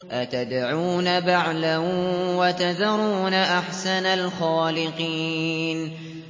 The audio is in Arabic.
أَتَدْعُونَ بَعْلًا وَتَذَرُونَ أَحْسَنَ الْخَالِقِينَ